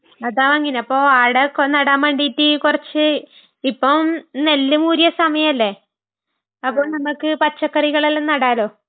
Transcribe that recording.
അതാ വാങ്ങിന്...അപ്പൊ ആടെ ഒക്കെ നടാൻ വേണ്ടീട്ട്...കുറച്ച്... ഇപ്പം നെല്ല് മൂരിയ സമയമല്ലേ..അപ്പൊ നമുക്ക് പച്ചക്കറികളെല്ലാം നടാല്ലോ..